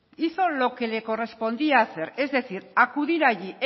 hizo lo que le correspondía hacer es decir acudir allí